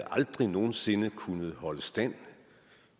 aldrig nogen sinde havde kunnet holde stand